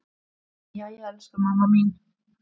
Jæja elsku mamma mín.